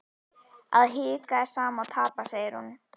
Að hika er sama og tapa, segir hún.